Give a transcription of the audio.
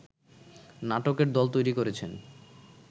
নাটকের দল তৈরী করেছেন